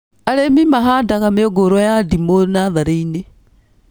Arĩmi mahandaga mĩũngũrwa ya ndimũ natharĩ-inĩ